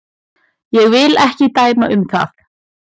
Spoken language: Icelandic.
Ég vil ekki dæma um það.